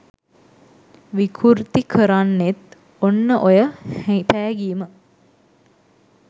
විකුර්ති කරන්නෙත් ඔන්න ඔය පෑගීම